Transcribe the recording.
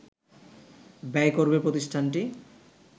ব্যয় করবে প্রতিষ্ঠানটি